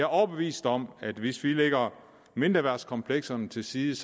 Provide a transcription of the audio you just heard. overbevist om at hvis vi lægger mindreværdskomplekserne til side